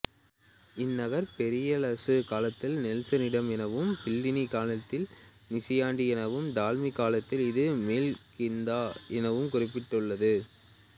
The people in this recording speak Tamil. இந்நகர் பெரிப்ளசு காலத்தில் நெல்சின்டா எனவும் ப்ளைனி காலத்தில் நியாசின்டி எனவும் டாலமி காலத்தில் இது மேல்கிந்தா எனவும் குறிக்கப்பட்டுளது